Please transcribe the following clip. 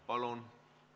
Palun!